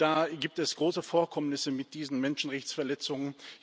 Da gibt es große Vorkommnisse mit diesen Menschenrechtsverletzungen.